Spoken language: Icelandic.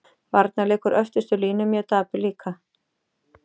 Varnarleikur öftustu línu mjög dapur líka.